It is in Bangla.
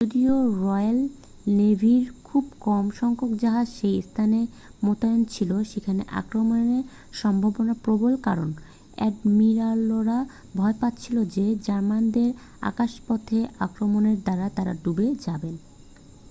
যদিও রয়্যাল নেভির খুব কম সংখ্যক জাহাজ সেই স্থানে মোতায়েন ছিল যেখানে আক্রমণের সম্ভাবনা প্রবল কারণ অ্যাডমিরালরা ভয় পাচ্ছিলেন যে জার্মানদের আকাশপথে আক্রমণের দ্বারা তাঁরা ডুবে যাবেন